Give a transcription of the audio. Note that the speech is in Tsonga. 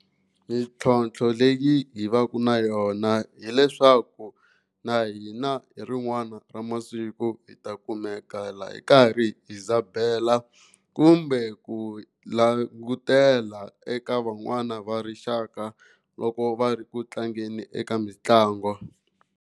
Mintlhontlho leyi hi va ka na yona hileswaku na hina hi rin'wana ra masiku hi ta kumeka la hi karhi hi dzhabela kumbe ku langutela eka van'wani va rixaka loko va ri ku tlangeni eka mitlangu.